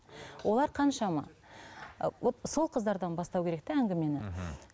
олар қаншама ы вот сол қыздардан бастау керек те әңгімені мхм